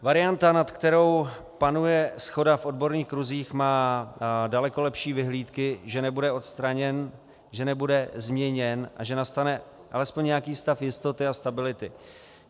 Varianta, nad kterou panuje shoda v odborných kruzích, má daleko lepší vyhlídky, že nebude odstraněn, že nebude změněn a že nastane alespoň nějaký stav jistoty a stability.